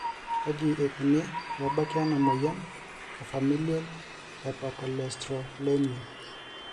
kaji ikoni pee ebaki ena moyian e Familial hypercholesterolemia ?